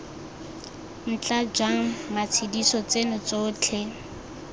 ntla jang matshediso tseno tsotlhe